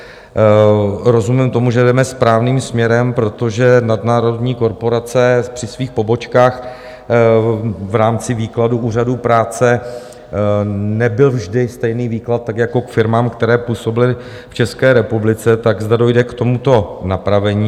Rozumím tomu, že jdeme správným směrem, protože nadnárodní korporace při svých pobočkách v rámci výkladu úřadů práce... nebyl vždy stejný výklad, tak jako k firmám, které působily v České republice, tak zda dojde k tomuto napravení.